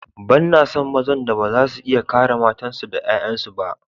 Banna son mazan da ba za su iya kare matansu da ’ya’yansu ba.